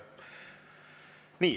Nii.